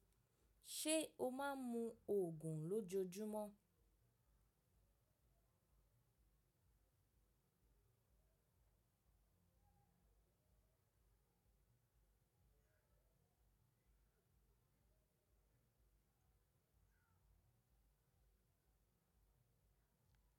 Ṣé o máa ń mu ògùn lójoojúmọ́?